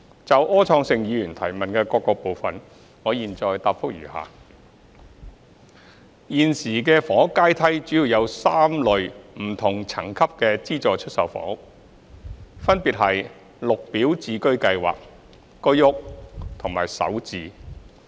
就柯創盛議員質詢的各部分，我現答覆如下。一現時的房屋階梯主要有3類不同層級的資助出售房屋，分別是綠表置居計劃、居屋和首置。